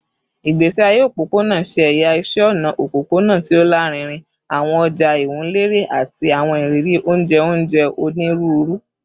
Igbesi aye opopona ṣe ẹya iṣẹ ọna opopona ti o larinrin, awọn ọja iwunlere, ati awọn iriri onjẹ onjẹ oniruuru